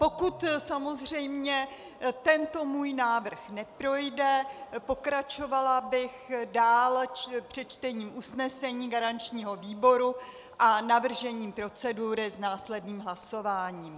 Pokud samozřejmě tento můj návrh neprojde, pokračovala bych dále s přečtením usnesení garančního výboru a navržením procedury s následným hlasováním.